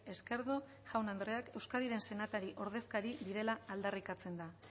esquerdo jaun andreak euskadiren senatari ordezkari direla aldarrikatzen da